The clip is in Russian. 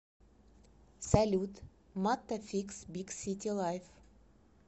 салют маттафикс биг сити лайф